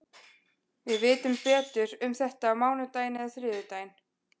Við vitum betur um þetta á mánudaginn eða þriðjudaginn.